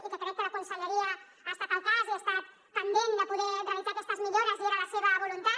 i que crec que la conselleria ha estat al cas i ha estat pendent de poder realitzar aquestes millores i era la seva voluntat